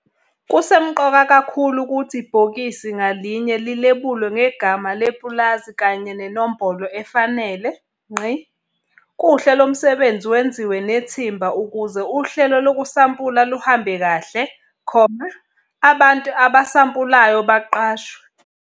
Kusemqoka kakhulu ukuthi ibhokisi ngalinye lilebulwe ngegama lepulazi kanye nenombolo efanele. Kuhle lo msebenzi wenziwe nethimba ukuze uhlelo lokusampula luhambe kahle, abantu abasampulayo baqashwe.